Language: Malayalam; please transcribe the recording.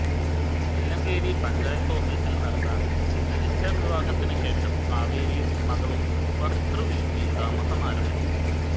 തില്ലങ്കേരി പഞ്ചായത്ത് ഓഫിസിൽ നടന്ന രജിസ്ട്രർ വിവാഹത്തിനു ശേഷം കാവേരിയും മക്കളും ഭർതൃവീട്ടിൽ താമസമാരംഭിച്ചു